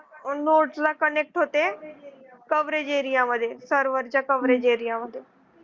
node ला connect होते coverage area मध्ये server च्या coverage area मध्ये.